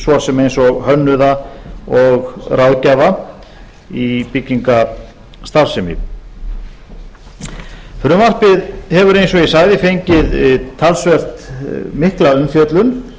svo sem eins og hönnuða og ráðgjafa í byggingarstarfsemi frumvarpið hefur eins og ég sagði fengið talsvert mikla umfjöllun